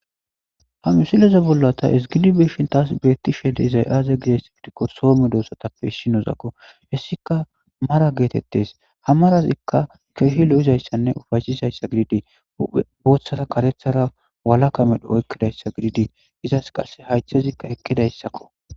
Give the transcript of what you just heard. Ha misileza bolla ta esgilibeeshin taas beetti shede izay aaze gides gidikko soome doossatappe ishinozakko hessika mara geetettes ha marazikka keehi lo7izayssanne ufashisayssa gididii booththara karethara wala ka medho oykkidayssa gididii izas qasse haythezikka ekkidayssakko.